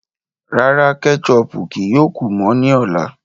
Rárá, kẹ́chọpù kíí yóò kú mọ ni ọ̀lá.